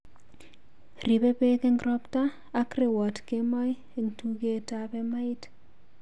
Riibei peek eng' ropta ak rewoot kemoi eng' tugeetap emait